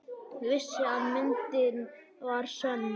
Vissi að myndin var sönn.